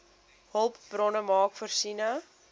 hulpbronne maak voorsiening